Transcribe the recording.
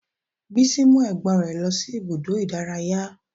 Bísí mú ẹ̀gbọ́n rẹ̀ lọ sí ibùdó ìdárayá